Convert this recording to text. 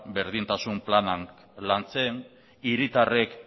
berdintasun planean lantzen hiritarrek